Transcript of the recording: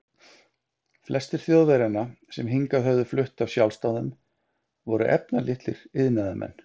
Flestir Þjóðverjanna, sem hingað höfðu flutt af sjálfsdáðum, voru efnalitlir iðnaðarmenn.